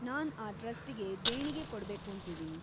ನಾನ್ ಆ ಟ್ರಸ್ಟಿಗೆ ದೇಣಿಗೆ ಕೊಡ್ಬೇಕೂಂತಿದೀನಿ.